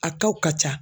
A tɔ ka ca